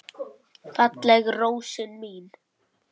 Fallega rósin mín.